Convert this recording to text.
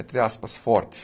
entre aspas, forte.